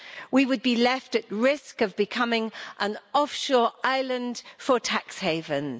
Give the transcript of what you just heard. We would be left at risk of becoming an offshore island for tax havens.